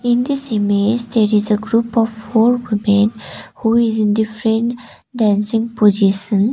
in this image there is a group of four women who is in different dancing position.